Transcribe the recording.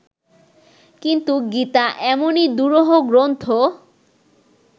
কিন্তু গীতা এমনই দুরূহ গ্রন্থ